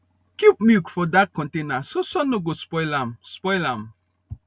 keep milk for dark container so sun no go spoil am spoil am